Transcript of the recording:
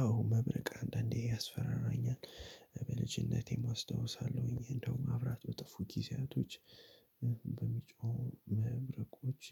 አዎ መብረቅ አንዳንዴ ያስፈራራኛል በልጅነቴም አስታውሳለሁኝ እንደውም መብራት በጠፉ ጊዜያቶች በሚጮሁ መብረቆች